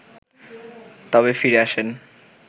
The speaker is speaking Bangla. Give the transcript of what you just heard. তবে ফিরে আসেন